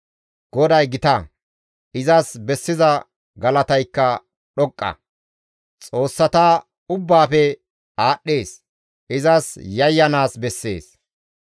GODAY gita; izas bessiza galataykka dhoqqa; xoossata ubbaafe aadhdhees; izas yayyanaas bessees.